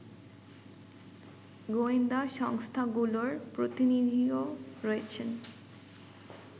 গোয়েন্দা সংস্থাগুলোর প্রতিনিধিও রয়েছেন